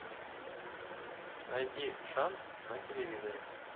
найди шант на телевизоре